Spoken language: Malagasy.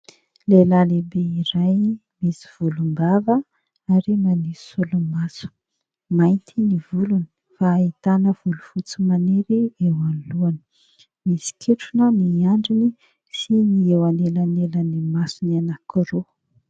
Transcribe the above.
Lehilahy lehibe iray misy volom-bava ary manao solomaso, mainty ny volony hahitana volofotsy maniry eo anoloany, misy ketrona ny andriny sy ny eo anelanelan'ny masony anakiroa.